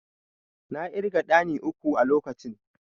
I counted three hand pan at the time.